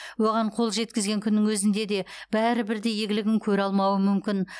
оған қол жеткізген күннің өзінде де бәрі бірдей игілігін көре алмауы мүмкін